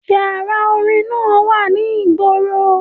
Yàrá orin náà wà ní ìgboro.